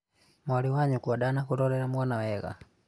mwarĩ wa nyũkwa ndanakũrorera mwana wega